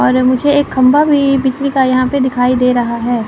अरे मुझे एक खंभा भी बिजली का यहां पे दिखाई दे रहा है।